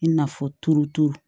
I n'a fɔ turutu